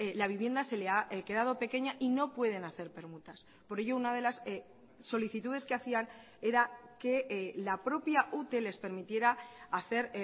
la vivienda se le ha quedado pequeña y no pueden hacer permutas por ello una de las solicitudes que hacían era que la propia ute les permitiera hacer